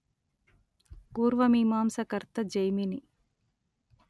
పూర్వమీమాంసా కర్త జైమిని